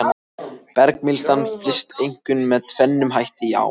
Bergmylsnan flyst einkum með tvennum hætti í ám.